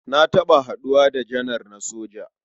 Na taɓa haɗuwa da janar na soja.